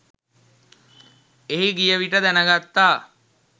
එහි ගියවිට දැනගත්තා